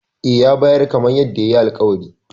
E, ya bayar kamar yadda yayi alƙawari.